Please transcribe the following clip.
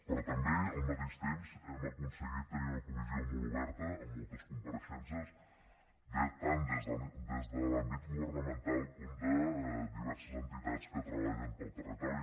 però també al mateix temps hem aconseguit tenir una comissió molt oberta amb moltes compareixences tant des de l’àmbit governamental com des de diverses entitats que treballen pel territori